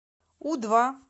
у два